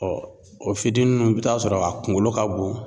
o fitini ninnu , i bi t'a sɔrɔ a kunkolo ka bon.